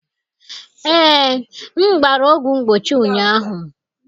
Ee, m gbara ọgwụ mgbochi ụnyaahụ.